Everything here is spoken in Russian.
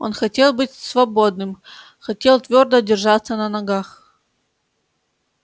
он хотел быть свободным хотел твёрдо держаться на ногах